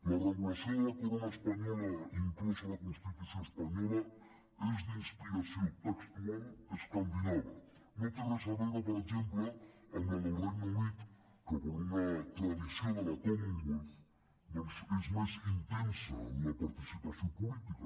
la regulació de la corona espanyola inclosa a la constitució espanyola és d’inspiració textual escandinava no té res a veure per exemple amb la del regne unit que per una tradició de la commonwealth doncs és més intensa en la participació política